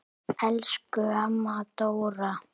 Elsku amma Dóra.